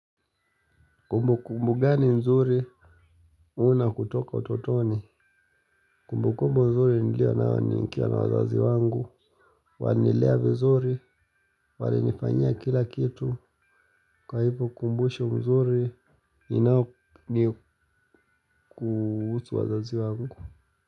Kumbu kumbu gani nzuri. Una kutoka utotoni. Kumbu kumbu mzuri nilio na waniinkia na wazazi wangu. Wanilea vizuri. Walinifanya kila kitu. Kwa hivu kumbushe mzuri. Ninao ni kuhusu wazazi wangu.